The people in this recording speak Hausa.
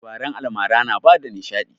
Labaran almara na bada nishaɗi